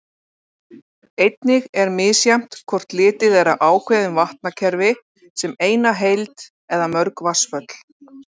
Einnig er misjafnt hvort litið er á ákveðin vatnakerfi sem eina heild eða mörg vatnsföll.